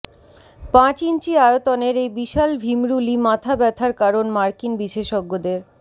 পাঁচ ইঞ্চি আয়তনের এই বিশাল ভিমরুলই মাথা ব্যাথার কারণ মার্কিন বিশেষজ্ঞদের